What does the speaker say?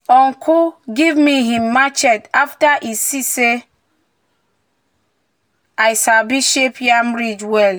"uncle give me him machete after e see say i sabi shape yam ridge well."